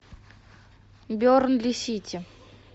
бернли сити